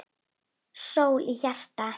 Sól í hjarta.